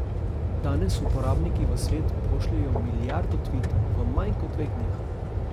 Danes uporabniki v svet pošljejo milijardo tvitov v manj kot dveh dneh.